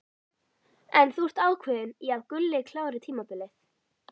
En þú ert ákveðinn í að Gulli klári tímabilið?